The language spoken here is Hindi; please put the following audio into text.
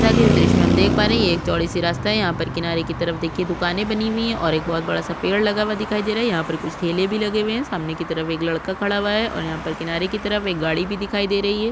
जैसा की इस द्र्श्य में हम देख पा रहे है ये एक चौड़ी सी रास्ता है यहाँ पर किनारे की तरफ देखिए दुकाने बनी हुई है और एक बहोत बड़ा सा पेड़ लगा हुआ दिखाई दे रहा है यहाँ पर कुछ ठेले भी लगे हुए है सामने की तरफ एक लड़का खड़ा हुआ है और यहाँ पर किनारे की तरफ एक गाड़ी भी दिखाई दे रही है।